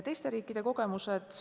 Teiste riikide kogemustest.